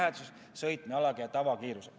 Mäletan, et Jürgen küsis selle kohta mitu korda.